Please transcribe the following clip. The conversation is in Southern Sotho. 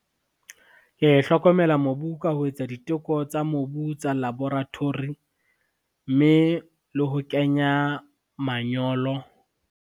Ke hlokomela mobu ka ho etsa diteko tsa mobu tsa laboratory, mme le ho kenya manyolo.